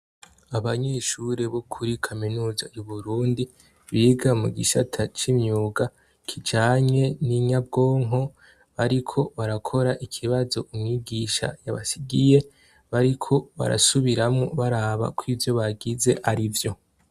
Abanyeshuri bo kuri kaminuza y'Iburundi, biga mu gicasata c'imyuga kijanye n'inyabwonko, bariko barakora ikibazo umwigisha yabasigiye, bariko barasubiramwo baraba kw'ivyo bagize arivyo.